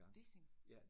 Dissing?